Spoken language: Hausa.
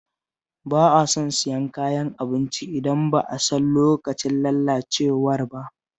Ba a son siyan kayan abinci idan ba a san lokacin lalacewar ba